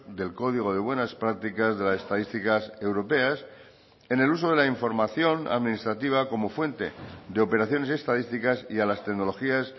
del código de buenas prácticas de las estadísticas europeas en el uso de la información administrativa como fuente de operaciones estadísticas y a las tecnologías